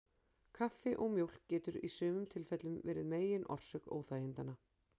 Kaffi og mjólk getur í sumum tilfellum verið megin orsök óþægindanna.